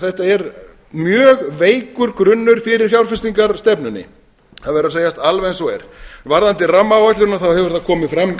þetta er mjög veikur grunnur fyrir fjárfestingarstefnunni það verður að segjast alveg eins og er varðandi rammaáætlunina þá hefur það komið fram